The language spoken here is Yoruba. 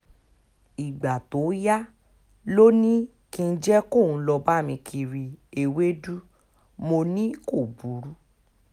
ìgbà tó yá ló ní kí n jẹ́ kóun lọ́ọ́ bá mi kiri ewéèdú mọ́ ni kò burú